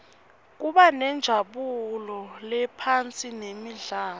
kubanenjabulo laphosinemidlalo